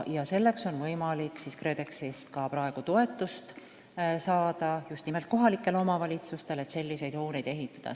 Selleks, et selliseid hooneid ehitada, on kohalikel omavalitsustel praegu võimalik KredExist toetust saada.